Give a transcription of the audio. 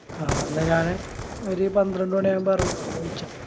അഹ് എന്ന ഞാനീ ഒരു പന്ത്രണ്ട് മണിയാവുമ്പോ എറങ്ങാ